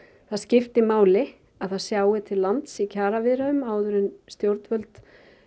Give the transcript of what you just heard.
það skiptir máli að það sjái til lands í kjaraviðræðum áður en stjórnvöld